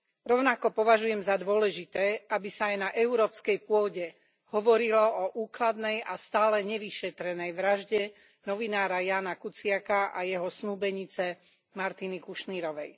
Rovnako považujem za dôležité, aby sa aj na európskej pôde hovorilo o úkladnej a stále nevyšetrenej vražde novinára Jána Kuciaka a jeho snúbenice Martiny Kušnírovej.